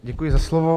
Děkuji za slovo.